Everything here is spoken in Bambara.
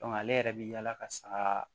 ale yɛrɛ bi yaala ka saga